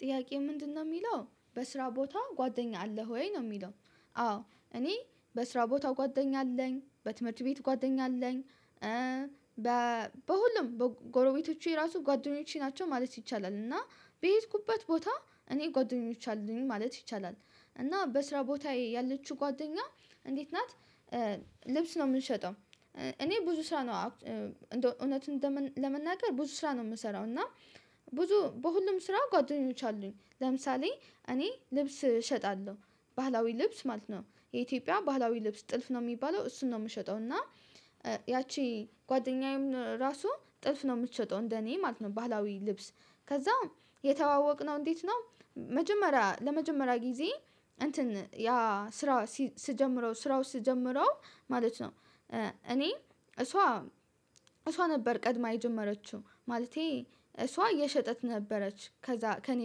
ጥያቄ ምንድነው የሚለው በስራ ቦታ ጓደኛ አለህ ወይ? ነው የሚለው። አዎ እኔ በስራ ቦታ ጓደኛ አለኝ። በትምህርት ቤት ጓደኛ አለኝ። በ በሁሉም በጎረቤቶቹ የራሱ ጓደኞቼ ናቸው ማለት ይቻላል። እና በሄድኩበት ቦታ እኔ ጓደኞቼ አሉኝ ማለት ይቻላል። እና በስራ ቦታ ያለችው ጓደኛ እንዴት ናት- ልብስ ነው የምንሸጠው። እኔ ብዙ ስራ ነው እንዴው እውነቱን ለመናገር ብዙ ስራ ነው የምሰራው። እና- ብዙ በሁሉም ስራ ጓደኞች አሉኝ። ለምሳሌ እኔ ልብስ እሸጣለሁ ባህላዊ ልብስ ማለት ነው። የኢትዮጵያ ባህላዊ ልብስ ጥልፍ ነው የሚባለው እሱን ነው የምሸጠው። እና- ያቺ ጓደኛዬም ራሱ ጥልፍ ነው የምትሸጠው እንደኔ ማለት ነው። ባህላዊ ልብስ ከዛም የተዋወቅነው እንዴት ነው መጀመሪያ ለመጀመሪያ ጊዜ እንትን ያ ስራ ስጀምረው ስራው ስጀምረው ማለት ነው እኔ እሷ- እሷ ነበር ቀድማ የጀመረችው። ማለቴ እሷ እየሸጠች ነበረች። ከዛ ከእኔ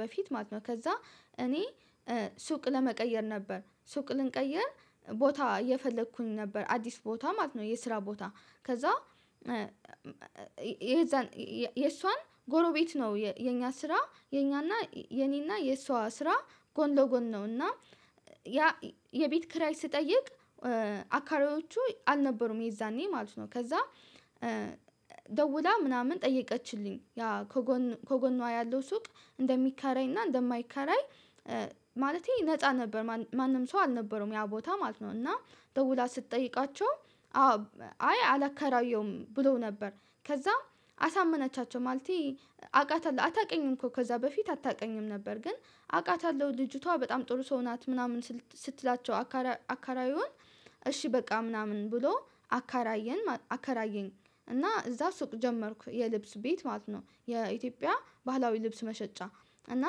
በፊት ማለት ነው ከዛ እኔ ሱቅ ለመቀየር ነበር ሱቅ ልንቀይር ቦታ የፈለኩኝ ነበር አዲስ ቦታ ማለት ነው። የስራ ቦታ ከዛ- የዛን የእሷን ጎረቤት ነው። የኛ ስራ የኛና የኔና የእሷ ስራ ጎን ለጎን ነው። እና ያ የቤት ክራይ ስጠይቅ አካሪዎቹ አልነበሩም የዛኔ ማለት ነው። ከዛ- ደውላ ምናምን ጠየቀችልኝ። ያ ከጎን ከጎኗ ያለው ሱቅ እንደሚከራይ እና እንደማይከራይ- ማለቴ ነፃ ነበር ማንም ሰው አልነበረውም ያ ቦታ ማለት ነው: እና ደውላ ስትጠይቃቸው- አይ አላከራየውም ብለው ነበር። ከዛም አሳመነቻቸው ማለቴ- አቃታለሁ አታውቀኝም እኮ ከዛ በፊት አታውቀኝም ነበር ግን አቃታለሁ ልጅቷ በጣም ጥሩ ሰው ናት ምናምን ስትላቸው አካራዩን እሺ በቃ ምናምን ብሎ አካራየን አከራየን። እና እዛ ሱቅ ጀመርኩ የልብስ ቤት ማለት ነው የኢትዮጵያ ባህላዊ ልብስ መሸጫ። እና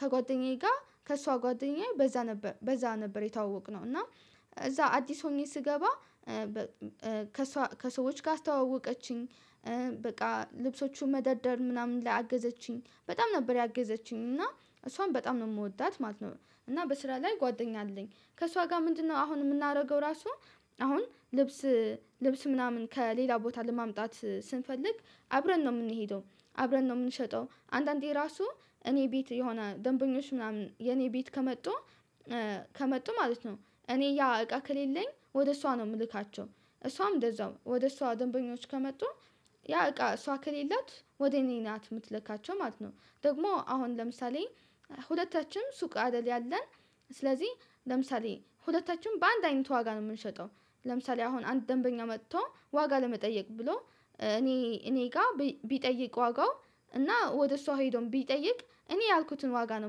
ከጓደኛዬ ጋር ከእሷ ጓደኛዬ በዛ ነበር በዛ ነበር የተዋወቅነው። እና- እዛ አዲስ ሆኜ ስገባ ከሰዎች ጋር አስተዋወቀችኝ። በቃ ልብሶቹን መደርደር ምናምን ላይ አገዘችኝ በጣም ነበር ያገዘችኝ። እና እሷን በጣም ነው የምወዳት ማለት ነው። እና በስራ ላይ ጓደኛ አለኝ። ከእሷ ጋር ምንድነው አሁን የምናደርገው ራሱ- አሁን ልብስ ልብስ ምናምን ከሌላ ቦታ ለማምጣት ስንፈልግ አብረን ነው የምንሄደው። አብረን ነው የምንሸጠው። አንዳንዴ ራሱ እኔ ቤት የሆነ ደንበኞች ምናምን የኔ ቤት ከመጡ- ከመጡ ማለት ነው እኔ ያ እቃ ከሌለኝ ወደ እሷ ነው የምልካቸው። እሷም እንደዛው ወደ እሷ ደንበኞች ከመጡ- ያ እቃ እሷ ከሌላት ወደ እኔ ናት የምትለካቸው ማለት ነው። ደግሞ አሁን ለምሳሌ- ሁለታችንም ሱቅ አደል ያለን ስለዚህ ለምሳሌ ሁለታችንም በአንድ አይነት ዋጋ ነው የምንሸጠው። ለምሳሌ አሁን አንድ ደንበኛ መጥቶ ዋጋ ለመጠየቅ ብሎ እኔ እኔ ጋር ቢጠይቅ ዋጋው እና ወደ እሷ ሄዶም ቢጠይቅ እኔ ያልኩትን ዋጋ ነው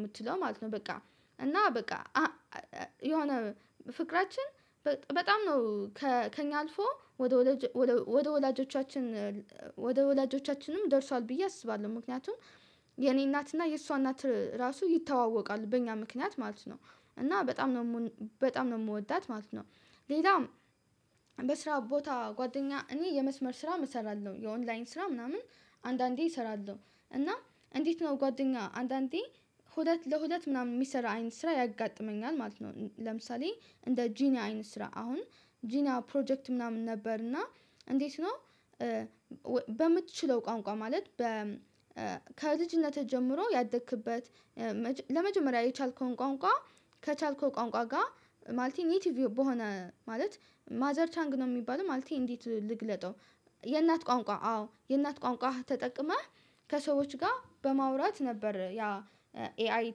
የምትለው ማለት ነው: በቃ- እና በቃ የሆነ ፍቅራችን በጣም ነው ከእኛ አልፎ- ወደ ወላጆቻችን ወደ ወላጆቻችንም ደርሷል ብዬ አስባለሁ። ምክንያቱም የኔ እናትና የእሷ እናት ራሱ ይተዋወቃል በእኛ ምክንያት ማለት ነው። እና በጣም ነው በጣም ነው የምወዳት ማለት ነው። ሌላም በስራ ቦታ ጓደኛ እኔ የመስመር ስራ እሰራለሁ። የኦንላይን ስራ ምናምን- አንዳንዴ እሰራለሁ። እና እንዴት ነው ጓደኛ አንዳንዴ ሁለት ለሁለት ምናምን የሚሰራ አይን ስራ ያጋጥመኛል ማለት ነው። ለምሳሌ እንደ ጂኒያ አይን ስራ አሁን ጂኒያ ፕሮጀክት ምናምን ነበር እና እንዴት ነው- በምትችለው ቋንቋ ማለት በ ከልጅነትህ ጀምሮ ያደክበት ለመጀመሪያ የቻልከውን ቋንቋ ከቻልከው ቋንቋ ጋር ማለት ኒቲቭ በሆነ ማለት ማዘር ታንግ ነው የሚባለው ማለት እንዴት ልግለጠው። የእናት ቋንቋ አዎ የእናት ቋንቋ ተጠቅመህ ከሰዎች ጋር በማውራት ነበር ያ ኤአይ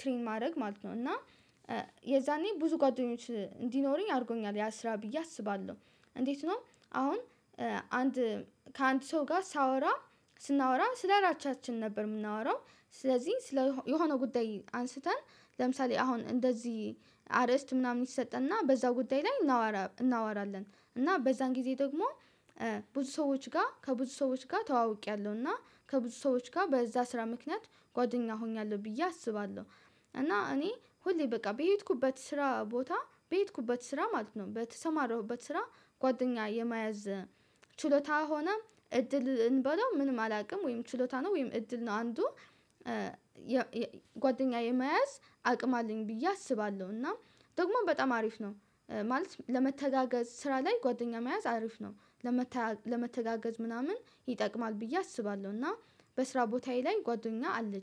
ትሬን ማድረግ ማለት ነው። እና- የዛኔ ብዙ ጓደኞች እንዲኖረኝ አድርጎኛል ያ ስራ ብዬ አስባለሁ። እንዴት ነው አሁን- አንድ ከአንድ ሰው ጋር ሳወራ ስናወራ ስለ ራቻችን ነበር የምናወራው። ስለዚህ ስለ የሆነው ጉዳይ አንስተን ለምሳሌ አሁን እንደዚህ አርእስት ምናምን ይሰጠንና በዛው ጉዳይ ላይ እናወራ እናወራለን። እና በዛን ጊዜ ደግሞ- ብዙ ሰዎች ጋር ከብዙ ሰዎች ጋር ተዋውቄያለሁ። እና- ከብዙ ሰዎች ጋር በዛ ስራ ምክንያት ጓደኛ ሆኛለሁ ብዬ አስባለሁ። እና እኔ ሁሌ በቃ በሄድኩበት ስራ ቦታ በሄድኩበት ስራ ማለት ነው በተሰማረሁበት ስራ ጓደኛ የመያዝ ችሎታ ሆነም እድልን በለው ምንም አላውቅም ወይም ችሎታ ነው ወይም እድል ነው አንዱ- ጓደኛዬ መያዝ አቅም አለኝ ብዬ አስባለሁ። እና ደግሞ በጣም አሪፍ ነው። ማለት ለመተጋገዝ ስራ ላይ ጓደኛ መያዝ አሪፍ ነው። ለመተጋገዝ ምናምን ይጠቅማል ብዬ አስባለሁ። እና በስራ ቦታዬ ላይ ጓደኛ አለኝ።